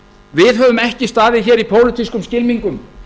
við höfum ekki staðið hér í pólitískum skylmingum